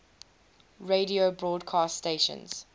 radio broadcast stations